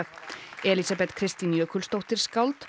Elísabet Kristín Jökulsdóttir skáld